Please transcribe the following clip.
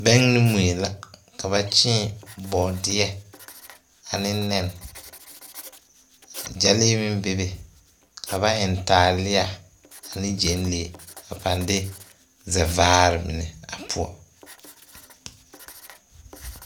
Bɛng ne mui la ka ba kyéé bɔɔdeɛ ane nɛn gyɛlee meŋ bebe ka ba eŋ taalia ne gyɛŋlee a pang de zɛvaare mine a poɔ.